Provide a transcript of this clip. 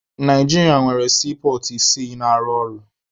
Naijiria nwere siipọọtụ isii na-arụ ọrụ.